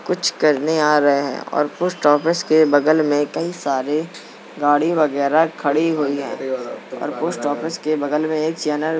कुछ करने आ रहे है और पोस्ट ऑफिस के बगल मे कई सारे गाड़ी वगेरा खड़ी हुई है और पोस्ट बगल मे एक चैनल --